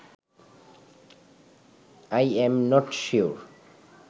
I am not sure